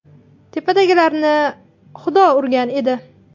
Tepadagilarini xudo urgan edi.